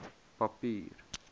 papier